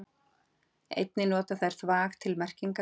Einnig nota þeir þvag til merkingar.